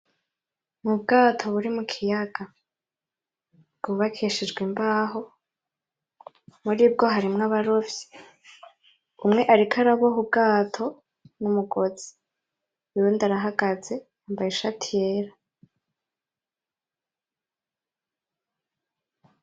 Mu bwato buri mu kiyaga bwubakishijwe imbaho, muribwo harimwo abarovyi umwe ariko araboha ubwato n’umugozi uyundi arahagaze yambaye ishati yera.